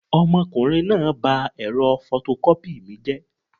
Ọmọkùnrin náà ba ẹ̀rọ fọtọkọ́pì mi jẹ́